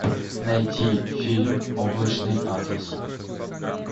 найти фильм облачный атлас